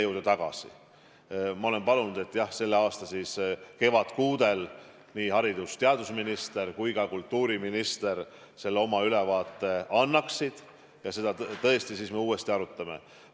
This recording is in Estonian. Aga jah, ma olen palunud, et selle aasta kevadkuudel nii haridus- ja teadusminister kui ka kultuuriminister selle ülevaate annaksid, ja seda teemat me siis tõesti uuesti arutame.